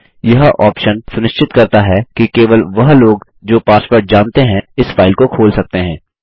यह ऑप्शन सुनिश्चित करता है कि केवल वह लोग जो पासवर्ड जानते हैं इस फाइल को खोल सकते हैं